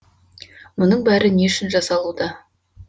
мұның бәрі не үшін жасалуда